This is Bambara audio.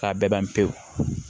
A bɛɛ ban pewu